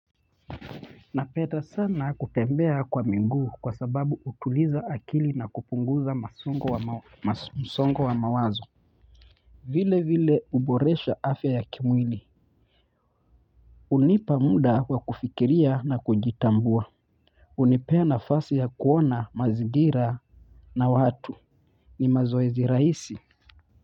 Napenda sana kutembea kwa miguu kwa sababu utuliza akili na kupunguza masongo wa mawazo vile vile uboresha afya ya kimwili hunipa muda wa kufikiria na kujitambua hunipea nafasi ya kuona mazigira na watu ni mazoezi rahisi.